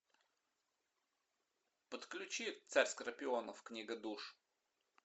подключи царь скорпионов книга душ